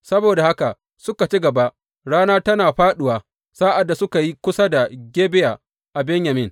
Saboda haka suka ci gaba, rana tana fāɗuwa sa’ad da suka yi kusa da Gibeya a Benyamin.